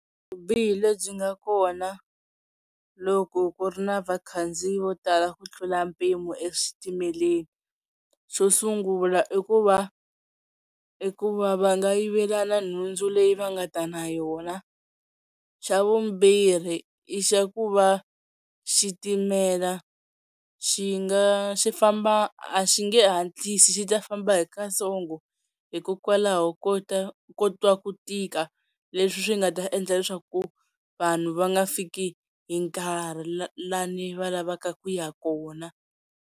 Vubihi lebyi nga kona loko ku ri na vakhandziyi vo tala ku tlula mpimo exitimeleni xo sungula i ku va i ku va va nga yivelana nhundzu leyi va nga ta na yona xa vumbirhi i xa ku va xitimela xi nga xi famba a xi nge hatlisi xi ta famba hi katsongo hi hikokwalaho ko ta kotwa ku tika leswi swi nga ta endla leswaku vanhu va nga fiki hi nkarhi la ni va lavaka ku ya kona.